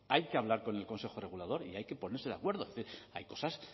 hay que hablar con el consejo regulador y hay que ponerse de acuerdo es decir hay cosas